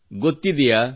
ಗೊತ್ತಿದೆಯಾ